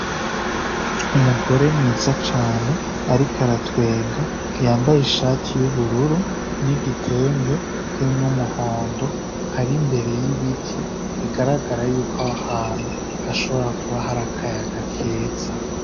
Umugore mwiza cane ariko aratwenga yambaye ishati y'ubururu n'igitenge kirimwo umuhondo ari imbere y'ibiti bigaragara yuko aho hantu hashobora kuba hari akayaga keza.